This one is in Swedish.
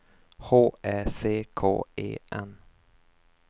H Ä C K E N